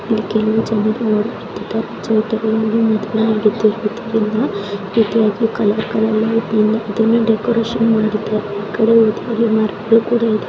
ನವಿಲನ್ ಚೌಟ್ರಿ ನೋಡಬಹುದು ಈ ಚೌಟ್ರಿನಲ್ಲಿ ಮದುವೆ ನಡೆಯುತ್ತಿದೆ ಕಲರ್ ಕಲರ್ ದೀಪಗಳನ್ನು ಹಾಕಿದ್ದಾರೆ ಆಕಡೆ ಎಲ್ಲ ಡೆಕೋರೇಷನ್ ಮಾಡಿದ್ದಾರೆ . ಈ ಕಡೆ ಒಂದು ಮರ ಕೂಡ ಇದೆ.